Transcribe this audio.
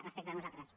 respecte a nosaltres